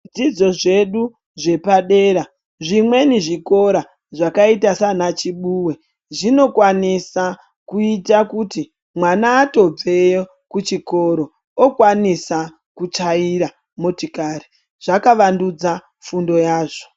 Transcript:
Zvidzidzo zvedu zvepadera zvimweni zvikora zvakaita sanaChibuwe zvinokwanisa kuita kuti mwana atobveyo kuchikoro okwanisa kuchaira motikari zvakavandudza fundo yazvo.